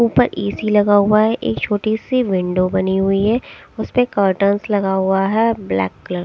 ऊपर ए_सी लगा हुआ है एक छोटी सी विंडो बनी हुई है उसपे कटर्न्स लगा हुआ है ब्लैक कलर --